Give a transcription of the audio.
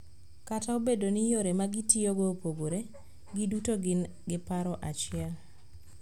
Kata obedo ni yore ma gitiyogo opogore, giduto gin gi paro achiel.